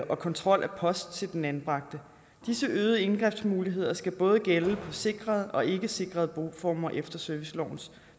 og kontrol af post til den anbragte disse øgede indgrebsmuligheder skal både gælde på sikrede og ikkesikrede boformer efter servicelovens